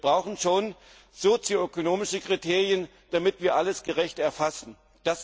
Wir brauchen schon sozioökonomische Kriterien, damit wir alles gerecht erfassen können.